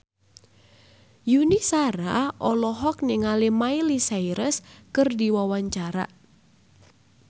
Yuni Shara olohok ningali Miley Cyrus keur diwawancara